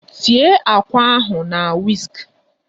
Tie àkwá ahụ na wisk!